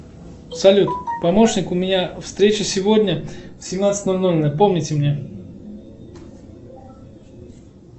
салют помощник у меня встреча сегодня в семнадцать ноль ноль напомните мне